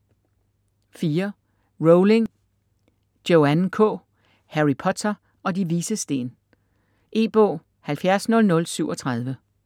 Rowling, Joanne K.: Harry Potter og De Vises Sten E-bog 700037